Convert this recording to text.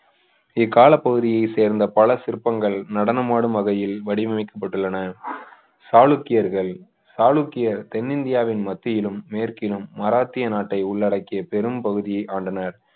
இக்கால பகுதியை சேர்ந்த பல சிற்பங்கள் நடனமாடும் வகையில் வடிவமைக்கப்பட்டுள்ளன சாளுக்கியர்கள் சாளுக்கிய தென்னிந்தியாவின் மத்தியிலும் மேற்கிலும் மராட்டிய நாட்டை உள்ளடக்கிய பெரும் பகுதியை ஆண்டனர்